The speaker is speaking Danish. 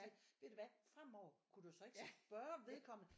Sige ved du hvad fremover kunne du så ikke spørge om vedkommende